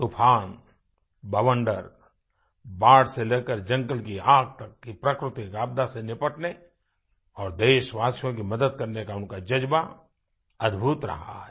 तूफ़ान बवंडर बाढ़ से लेकर जंगल की आग तक की प्राकृतिक आपदा से निपटने और देशवासियों की मदद करने का उनका जज़्बा अद्भुत रहा है